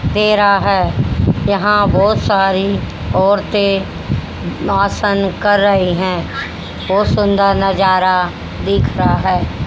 तेरा है यहां बहोत सारी औरतें भाषण कर रहे हैं बहोत सुंदर नजारा देख रहा है।